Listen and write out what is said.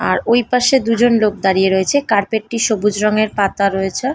আর ওই পাশে দুজন লোক দাঁড়িয়ে রয়েছে। কার্পেটটি টি সবুজ রঙের পাতা রয়েছে।